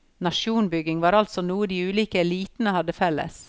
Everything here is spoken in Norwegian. Nasjonsbygging var altså noe de ulike elitene hadde felles.